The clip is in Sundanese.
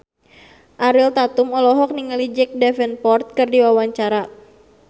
Ariel Tatum olohok ningali Jack Davenport keur diwawancara